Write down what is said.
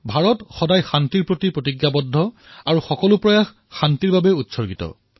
ভাৰত সদায়েই শান্তিৰ প্ৰতি প্ৰতিশ্ৰুতিবদ্ধ আৰু সমৰ্পিত